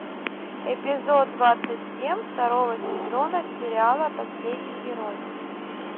эпизод двадцать семь второго сезона сериала последний герой